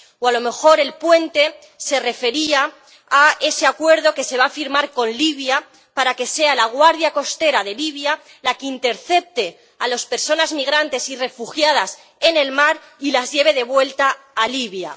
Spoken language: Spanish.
O a lo mejor el puente se refería a ese acuerdo que se va a firmar con Libia para que sea la guardia costera de Libia la que intercepte a las personas migrantes y refugiadas en el mar y las lleve de vuelta a Libia.